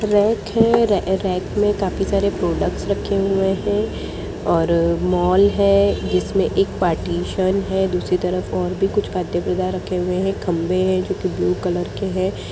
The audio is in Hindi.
रैक है रैक में काफी सारे प्रोडक्ट्स रखे हुए हैं और मॉल है जिसमें एक पार्टीशन है दूसरी तरफ और भी कुछ परदे वैगेरा रखे हुए है खम्बे हैं जो की ब्लू कलर के हैं ।